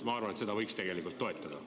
Ma arvan, et seda võiks toetada.